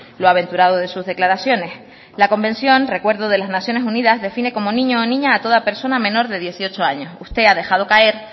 lo aventurado de sus declaraciones la convención recuerdo de las naciones unidas define como niño o niña a toda persona menor de dieciocho años usted ha dejado caer